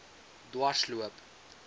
dwarsloop